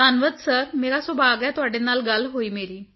ਧੰਨਵਾਦ ਸਿਰ ਮੇਰਾ ਸੁਭਾਗ ਹੈ ਤੁਹਾਡੇ ਨਾਲ ਗੱਲ ਹੋਈ ਮੇਰੀ